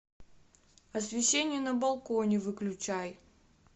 освещение на балконе выключай